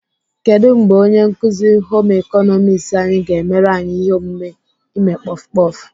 Kedụ mgbe onye nkuzi Home ịkọnọmiks anyị ga-emere anyị ihe omume ime kpọf kpọf?